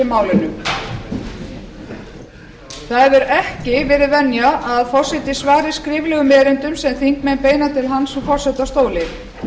málinu það hefur ekki verið venja að forseti svari skriflegum erindum sem þingmenn beina til hans í forsetastóli